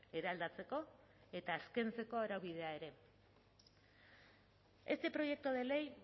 eraldatzeko eta azkentzeko araubidea ere este proyecto de ley